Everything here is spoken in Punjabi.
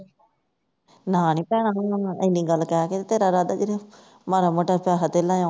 ਨਾ ਨੀਂ ਭੈਣਾਂ ਤੂੰ ਏਨੀ ਗੱਲ ਕਹਿ ਕੇ ਰਾਦਾ ਤੇਰਾ ਮਾੜਾ ਮੋਟਾ ਪੈਸਾ ਧੇਲਾ ਆਉਂਦਾ